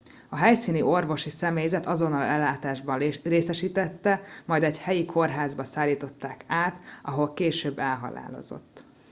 a helyszíni orvosi személyzet azonnali ellátásban részesítette majd egy helyi kórházba szállították át ahol később elhalálozott